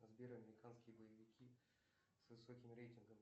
сбер американские боевики с высоким рейтингом